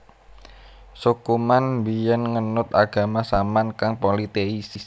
Suku Man biyen ngenut agama Saman kang politeis